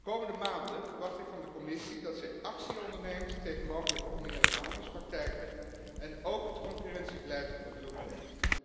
De komende maanden verwacht ik van de Commissie dat ze actie onderneemt tegen mogelijke oneerlijke handelspraktijken en ook het concurrentiebeleid onder de loep neemt.